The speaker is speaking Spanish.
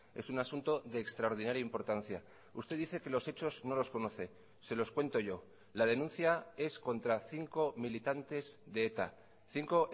es un asunto de extraordinaria importancia usted dice que los hechos no los conoce se los cuento yo la denuncia es contra cinco militantes de eta cinco